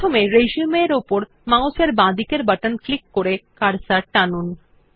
প্রথমে রিসিউম এর উপর মাউস এর বাঁদিকের বাটন ক্লিক করে কার্সর টানুন